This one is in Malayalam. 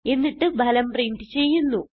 എന്നിട്ട് ഫലം പ്രിന്റ് ചെയ്യുന്നു